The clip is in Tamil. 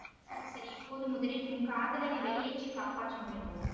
சரி சரி இப்போது முதலில் உன் காதலரை வெளியேற்றிக் காப்பாற்ற முயல்வோம்